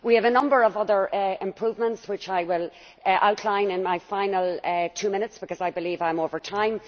We have a number of other improvements which I will outline in my final two minutes because I believe I am over time.